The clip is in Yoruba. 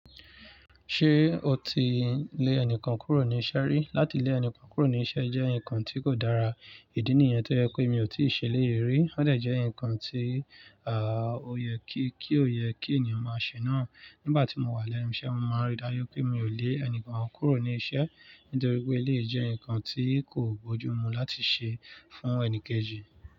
Ṣé o ti lé ẹnìkan kúrò ní iṣẹ́ rí? Láti lẹ̀ ẹni kan kúrò ní iṣẹ́, jẹ́ nǹkan tí kò dára. Ìdí nìyẹn tó jẹ́ pé mi ò tí ṣe élèyi rí. Ó dè jẹ́ ǹkan, tí ó yẹ kí ènìyàn máa ṣe náà. Nígbà tí mo wà lẹ́nu iṣẹ́, mo máa ń rí dájú pé mi ò lé ẹnìkan kúrò ní iṣẹ́. Nítorí pé èléyi jẹ́ ǹkan tí kò bójú mu láti ṣe fún ẹni kejì.